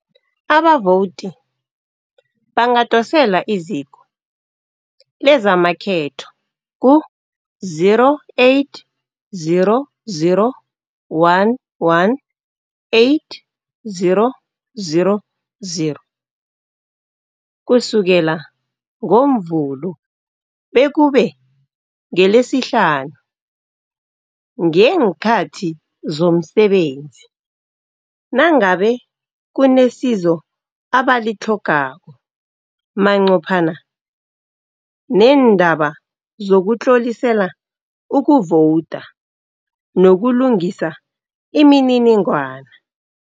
Abavowudi bangadosela iziko lezamakhetho ku zero, eight, zero, zero, one, one, eight, zero, zero, zero, kusukela ngoMvulo bekube ngeLesihlanu ngeenkhathi zomsebenzi nangabe kunesizo abalitlhogako manqophana neendaba zokutlolisela ukuvowuda nokulungisa imininingwana.